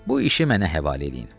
Bu işi mənə həvalə eləyin.